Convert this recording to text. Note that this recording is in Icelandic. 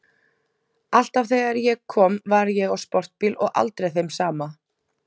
Alltaf þegar ég kom var ég á sportbíl og aldrei þeim sama.